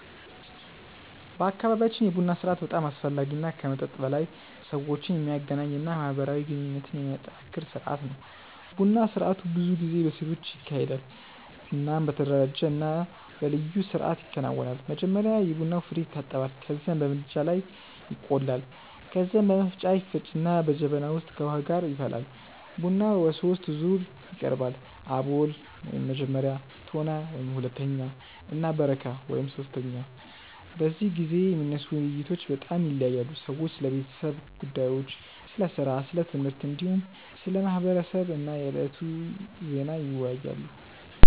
በአካባቢያችን የቡና ስርአት በጣም አስፈላጊ እና ከመጠጥ በላይ ሰዎችን የሚያገናኝ እና ማህበራዊ ግንኙነትን የሚያጠናክር ስርአት ነው። ቡና ስርአቱ ብዙ ጊዜ በሴቶች ይካሄዳል እናም በተደራጀ እና በልዩ ስርአት ይከናወናል። መጀመሪያ የቡና ፍሬዉ ይታጠባል ከዚያም በምድጃ ላይ ይቆላል። ከዚያ በመፍጫ ይፈጭና በጀበና ውስጥ ከውሃ ጋር ይፈላል። ቡናው በሶስት ዙር ይቀርባል፤ አቦል (መጀመሪያ)፣ ቶና (ሁለተኛ) እና በረካ (ሶስተኛ)። በዚህ ጊዜ የሚነሱ ውይይቶች በጣም ይለያያሉ። ሰዎች ስለ ቤተሰብ ጉዳዮች፣ ስለ ሥራ፣ ስለ ትምህርት፣ እንዲሁም ስለ ማህበረሰብ እና የዕለቱ ዜና ይወያያሉ።